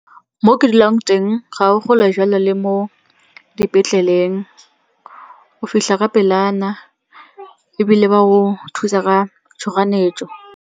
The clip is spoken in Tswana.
Mo ke dulang teng ga o kgole jalo le mo dipetleleng. O fitlha ka pelana ebile ba go thusa ka tshoganyetso.